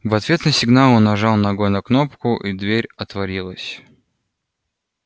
в ответ на сигнал он нажал ногой на кнопку и дверь отворилась